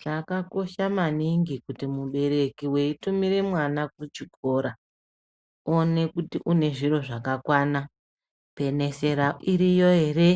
Chakakosha maningi kuti mubereki weitumire mwana kuchikora one kuti une zviro zvakakwana penesera iriyo ere